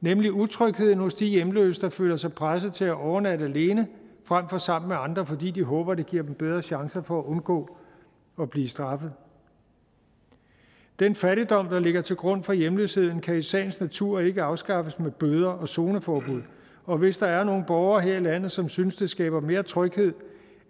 nemlig utrygheden hos de hjemløse der føler sig presset til at overnatte alene frem for sammen med andre fordi de håber det giver dem bedre chancer for at undgå at blive straffet den fattigdom der ligger til grund for hjemløsheden kan i sagens natur ikke afskaffes med bøder og zoneforbud og hvis der er nogle borgere her i landet som synes det skaber mere tryghed